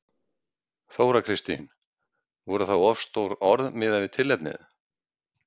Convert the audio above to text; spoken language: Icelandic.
Þóra Kristín: Voru það of stór orð miðað við tilefnið?